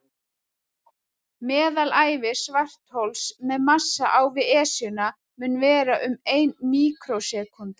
Meðalævi svarthols með massa á við Esjuna mun vera um ein míkrósekúnda.